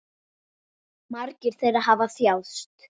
Margir þeirra hafa þjáðst.